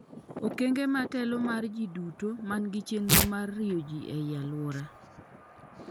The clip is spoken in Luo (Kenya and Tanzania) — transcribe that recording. okenge matelo mar jiduto mangi chenro mar riwo jii ei aluora